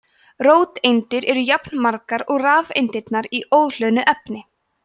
róteindirnar eru jafnmargar og rafeindirnar í óhlöðnu efni